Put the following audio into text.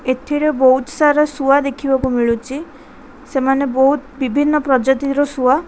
ଏଥିରେ ବହୁତ ସାରା ଶୁଆ ଦେଖିବାକୁ ମିଳୁଚି ସେମାନେ ବହୁତ ବିଭିନ୍ନ ପ୍ରଜାତି ର ଶୁଆ।